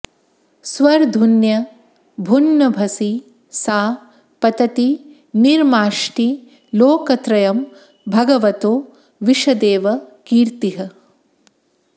स्वर्धुन्यभून्नभसि सा पतती निमार्ष्टि लोकत्रयं भगवतो विशदेव कीर्तिः